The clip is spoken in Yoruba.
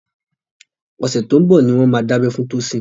Ọ̀sẹ̀ tó ń bọ̀ ni wọ́n máa dábẹ́ fún Tosin